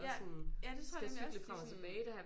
Ja ja det tror jeg nemlig også de sådan